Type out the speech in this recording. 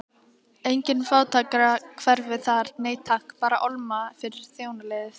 Engin fátækrahverfi þar, nei takk, bara álma fyrir þjónaliðið.